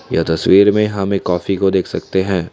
यह तस्वीर में हम एक कॉफी को देख सकते हैं।